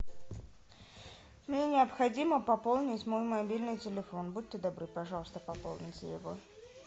мне необходимо пополнить мой мобильный телефон будьте добры пожалуйста пополните его